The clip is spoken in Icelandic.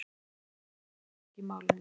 Einar neitaði sök í málinu.